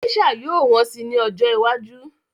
Gésà yóò wọ́n si ní ọjọ́ iwájú